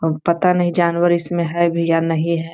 और पता नहीं जानवर इसमें हे भी या नहीं है।